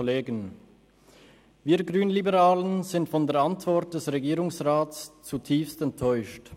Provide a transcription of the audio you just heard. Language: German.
Wir Grünliberalen sind von der Antwort des Regierungsrats zutiefst enttäuscht.